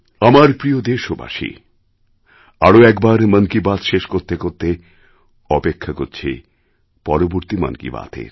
আমার প্রিয় দেশবাসী আরও একবার মন কি বাত শেষ করতে করতে অপেক্ষা করছি পরবর্তী মন কি বাতএর